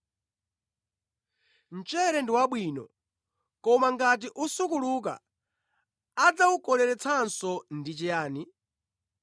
“Mchere ndi wabwino, koma ngati usukuluka adzawukoleretsanso ndi chiyani?